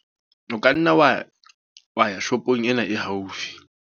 O ka nna wa ya, wa ya shopong ena e haufi.